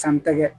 San tɛgɛ